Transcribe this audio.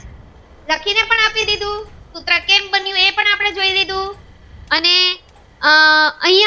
અને આહ અયા